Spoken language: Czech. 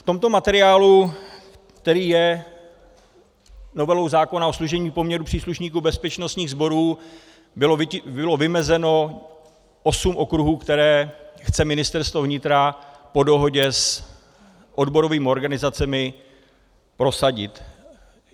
V tomto materiálu, který je novelou zákona o služebním poměru příslušníků bezpečnostních sborů, bylo vymezeno osm okruhů, které chce Ministerstvo vnitra po dohodě s odborovými organizacemi prosadit.